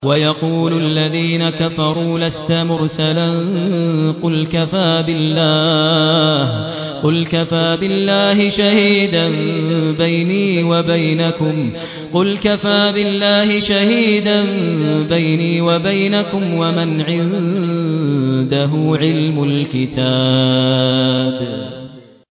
وَيَقُولُ الَّذِينَ كَفَرُوا لَسْتَ مُرْسَلًا ۚ قُلْ كَفَىٰ بِاللَّهِ شَهِيدًا بَيْنِي وَبَيْنَكُمْ وَمَنْ عِندَهُ عِلْمُ الْكِتَابِ